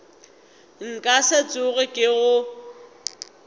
nka se tsoge ke go